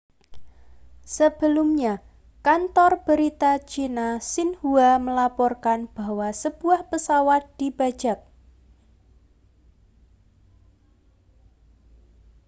sebelumnya kantor berita china xinhua melaporkan bahwa sebuah pesawat dibajak